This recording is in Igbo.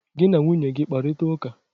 Gị na nwunye gị kparita ụka!